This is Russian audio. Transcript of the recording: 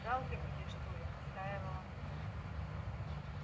жалко тебе что ли настаивал андрей